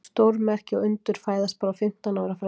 Stórmerki og undur fæðast bara á fimmtán ára fresti.